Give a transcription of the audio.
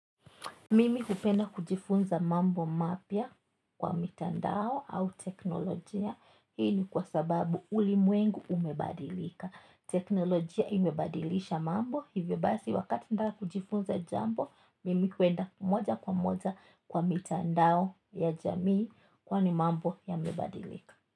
Mimi hupenda kujifunza mambo mapya kwa mitandao au teknolojia hii ni kwa sababu ulimwengu umebadilika teknolojia imebadilisha mambo hivyo basi wakati nataka kujifunza jambo mimi kwenda moja kwa moja kwa mitandao ya jamii kwani mambo yamebadilika.